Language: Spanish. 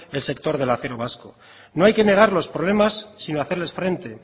el sector del acero vasco no hay que negar los problemas sino hacerles frente